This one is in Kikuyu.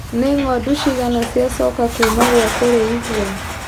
Nĩ ngondu cigana ciacoka kuma gwa kũrĩithia.